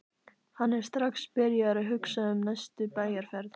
Hann er strax byrjaður að hugsa um næstu bæjarferð.